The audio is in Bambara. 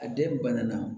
A den banana